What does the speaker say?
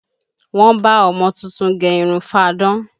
Wọ́n bá ọmọ tuntun gẹ irun fáadán